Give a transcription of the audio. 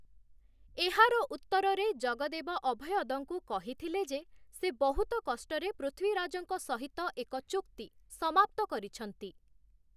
ଏହାର ଉତ୍ତରରେ ଜଗଦେବ ଅଭୟଦଙ୍କୁ କହିଥିଲେ ଯେ, ସେ ବହୁତ କଷ୍ଟରେ ପୃଥ୍ୱୀରାଜଙ୍କ ସହିତ ଏକ ଚୁକ୍ତି ସମାପ୍ତ କରିଛନ୍ତି ।